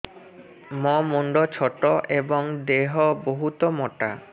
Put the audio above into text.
ମୋ ମୁଣ୍ଡ ଛୋଟ ଏଵଂ ଦେହ ବହୁତ ମୋଟା